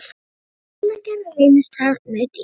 Við áætlunargerð reynist það mjög dýrt.